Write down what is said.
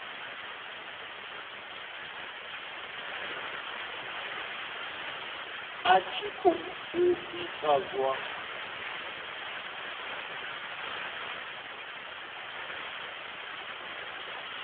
a tshi khou ita zwa